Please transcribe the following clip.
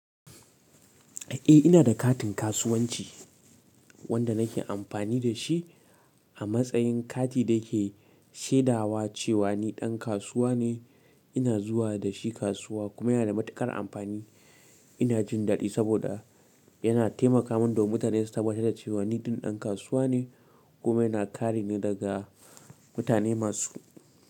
Eh ina da katin kasuwanci wanda nake amfani da shi a matsayin kati da ke shaidawa cewa ni ɗan kasuwa ne ina zuwa da shi kasuwa kuma yana da matuƙar amfani. Ina jin daɗi saboda yana taimaka mun domin mutane su tabatar da cewa ni ɗin ɗan kasuwa ne kuma yana kare ni daga mutane masu.